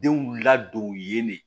Denw ladon yen de